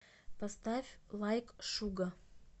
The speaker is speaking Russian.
поставь лайк шуга